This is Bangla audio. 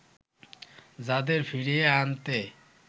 যাদের ফিরিয়ে আনতে